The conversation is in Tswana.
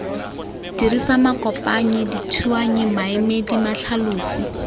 dirisa makopanyi dithuanyi maemedi matlhalosi